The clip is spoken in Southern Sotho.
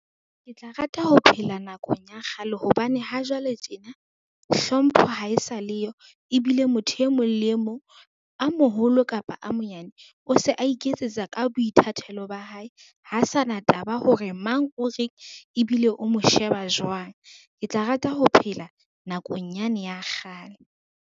Ke tla rata ho phela nakong ya kgale hobane ha jwale tjena, hlompho ha e sa le yo, ebile motho e mong le e mong a moholo kapa a monyane, o se a iketsetsa ka boithatelo ba hae. Ha sana taba hore mang o reng ebile o mo sheba jwang. Ke tla rata ho phela nakong yane ya kgale.